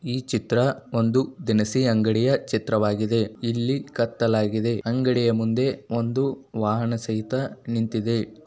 ಈ ಚಿತ್ರ ಒಂದು ದಿನಸಿ ಅಂಗಡಿಯ ಚಿತ್ರವಾಗಿದೆ ಇಲ್ಲಿ ಕತ್ತಲು ಆಗಿದೆ ಅಂಗಡಿಯ ಮುಂದೆ ಒಂದು ವಾಹನ ಸಹಿತ ನಿಂತಿದೆ.